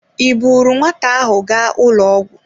Ị buuru nwata ahụ gaa ụlọ ọgwụ?